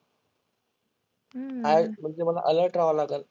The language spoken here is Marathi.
आज म्हणजे मला अलर्ट रहावं लागंल.